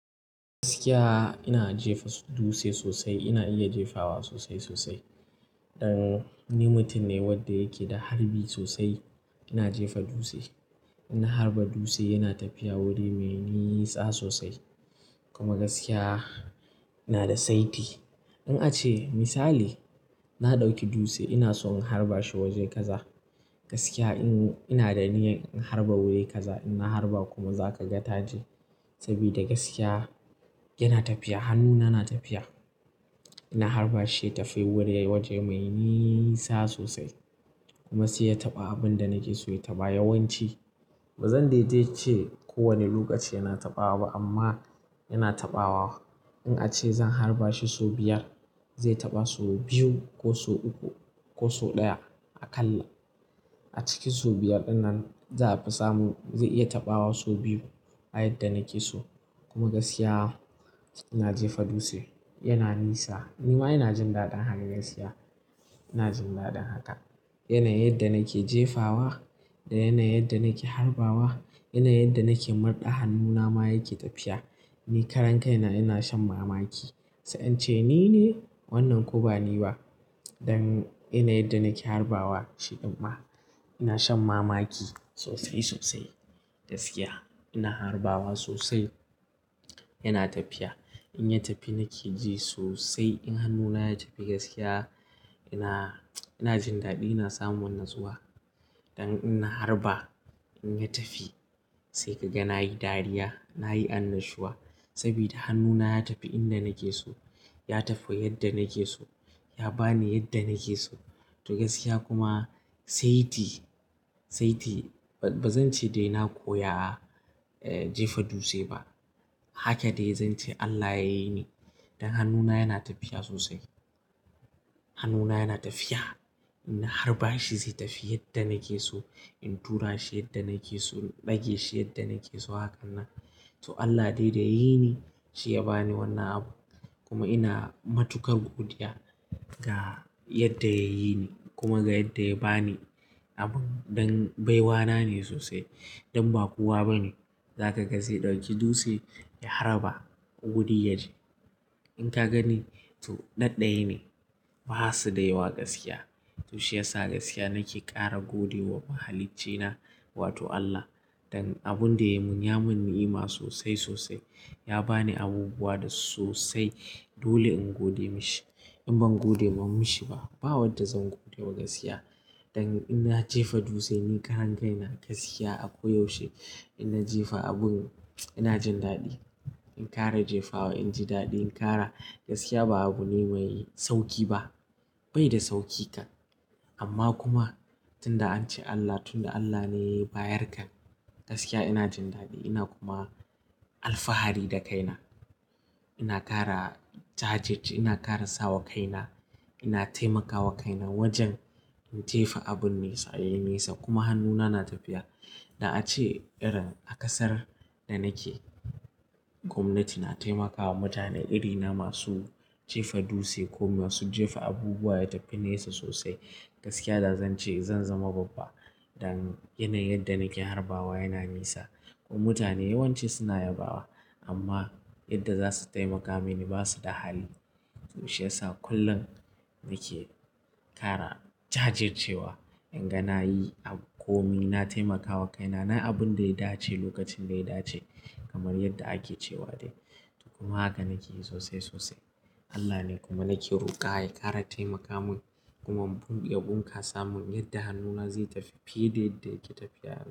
Gaskiya ina jefa dutse sosai. Ina iya jefawa sosai sosai. Dan ni mutum ne wanda yake da harbi sosai. Ina jefa dutse, ina harba dutse, yana tafiya wuri mai nisa sosai. Kuma gaskiya ina da saiti. In ace misali na ɗauki dutse ina so in harba shi waje kaza, gaskiya ina da niyyar in harba wuri kaza. In na harba kuma za ka ga taje. Saboda gaskiya yana tafiya, hannuna na tafiya. Ina harba shi ya tafi wuri waje mai nisa sosai kuma sai ya taɓa abin da nake so ya taɓa. Yawanci bazan daidai ce kowane lokaci yana taɓawa ba amma yana taɓawa. In ace zan harba shi sau biyar zai taɓa sau biyu ko sau uku ko sau ɗaya aƙalla. A cikin sau biyar ɗin nan za a fi samun zai iya taɓawa sau biyu a yadda nake so. Kuma gaskiya ina jefa dutse, yana nisa. Ni ma ina jin daɗin haka gaskiya ina jin daɗin haka. Yanayin yadda nake jefawa da yanayin yadda nake harbawa. Yanayin yadda nake murɗa hannuna ma yake tafiya. Ni karan kai na ina shan mamaki sai in ce ni ne wannan ko bani ba. Dan irin yadda nake harbawa shi ɗin ma. Ina shan mamaki sosai sosai. Don gaskiya ina harbawa sosai, yana tafiya. In ya tafi nake ji sosai. In hannuna ya tafi gaskiya ina, ina jin daɗi. Ina samun natsuwa. Dan ina harba in ya tafi sai ka ga nayi dariya, nayi annashuwa saboda hannuna ya tafi inda nake so. Ya tafi yadda nake so. Ya bani yadda nake so. To gaskiya kuma saiti, saiti bazan ce dai na koya, eh jefa dutse ba. Haka dai zan ce Allah yayi ni. Dan hannuna yana tafiya sosai. Hannuna yana tafiya. Ina harba shi zai tafi yadda nake so. In tura shi yadda nake so. In ɗage shi yadda nake so. Hakanan. To Allah dai da yayi ni shi ya bani wannan abu kuma ina matuƙar godiya ga yadda yayi ni kuma ga yadda ya bani abun. Dan baiwa na ne sosai. Dan ba kowa bane za ka ga zai ɗauki dutse ya harba guri ya je. In ka gani to ɗaɗɗaya ne basu da yawa gaskiya. To shiyasa gaskiya nake ƙara gode wa mahaliccina wato Allah. Dan abun da ya mun ya mun ni'ima sosai sosai. Ya bani abubuwa da sosai. Dole in gode mashi. In ban gode mun mashi ba, ba wadda zan gode wa gaskiya. Dan ina jefa dutse ni karan kai na gaskiya ako yaushe inna jefa abun ina jin daɗi. In ƙara jefawa inji daɗi in ƙara. Gaskiya ba abu ne mai sauƙi ba, bai da sauƙi kan. Amma kuma tunda an ce Allah, tunda Allah ne bayarka gaskiya ina jin daɗi ina kuma alfahari da kaina. Ina ƙara jajirce, ina ƙara sawa kaina. Ina taimakawa kaina wajen in jefa abun nesa yayi nesa kuma hannuna na tafiya. Da ace irin a ƙasar da nake gwamnati na taimakawa mutane irina masu jefa dutse ko masu jefa abubuwa ya tafi nesa sosai. Gaskiya da zan ce zan zama babba. Dan yanayin yadda nake harbawa yana nisa kuma mutane yawanci suna yabawa amma yadda za su taimaka mini basu da hali. To shiyasa kullum nake ƙara jajircewa. In ga nayi abu komi na taimakawa kaina. Na abun da ya dace lokacin da ya dace kamar yadda ake cewa dai. To kuma haka nake yi sosai sosai. Allah ne kuma nake roƙa ya ƙara taimaka mun. Kuma ya bunkasa mun yadda hannuna zai tafi fiye da yadda yake tafiya yanzu.